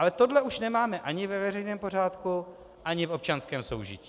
Ale tohle už nemáme ani ve veřejném pořádku ani v občanském soužití.